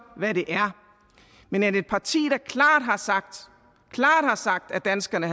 hvad det er men at et parti der klart har sagt klart har sagt at danskerne